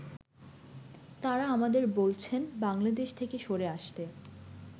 তারা আমাদের বলছেন বাংলাদেশ থেকে সরে আসতে।